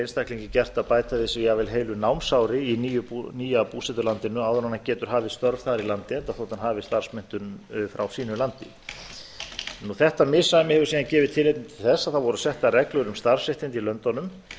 einstaklingi gert að bæta við sig jafnvel heilu námsári í nýja búsetulandinu áður en hann getur hafið störf þar í landi enda þótt hann hafi starfsmenntun frá sínu landi þessi misræmi hefur síðan gefið tilefni til þess að það voru settar reglur um starfsréttindi í